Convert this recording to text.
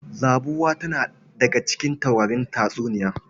Zabuwa tana daga cikin taurarin tatsuniya.